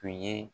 Tun ye